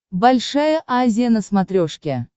большая азия на смотрешке